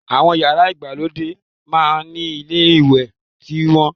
Àwọn yàrá ìgbàlódé máá ń ni ilé ìwẹ̀ tiwọn